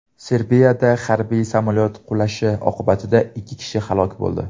Serbiyada harbiy samolyot qulashi oqibatida ikki kishi halok bo‘ldi.